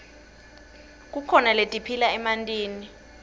kukhona letiphila emantini